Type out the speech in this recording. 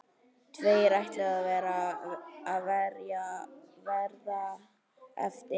Tveir ætluðu að verða eftir.